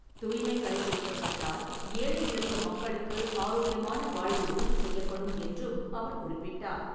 தூய்மை கடைபிடிக்கப்பட்டால், ஏழை, எளிய மக்களுக்கு ஆரோக்கியமான வாழ்வு உறுதி செய்யப்படும் என்றும் அவர் குறிப்பிட்டார்.